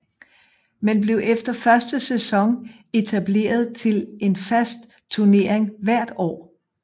Men blev efter første sæson etableret til en fast tunering hvert år